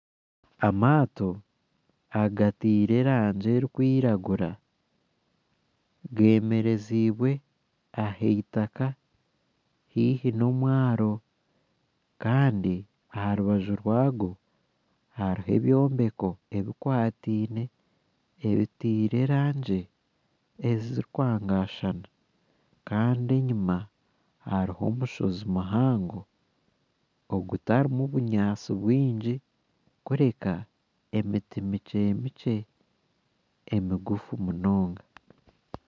Amato agatire erangi erukwiragura gemerezibwe ah'itaka haihi n'omwaro Kandi aha rubaju rwago hariho ebyombeko ebikwatiine ebitiire erangi ezirikwangashana Kandi enyuma hariho omushozi muhango ogutarimu obunyansi bwingi kureka emiti mikyemikye emigufu munonga.